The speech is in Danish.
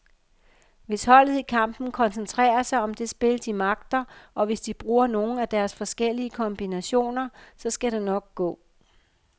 Hvis holdet i kampen koncentrerer sig om det spil, de magter, og hvis de bruger nogle af deres forskellige kombinationer, så skal det nok gå.